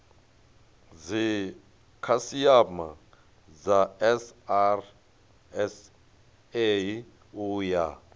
dzikhasiama dza srsa u ya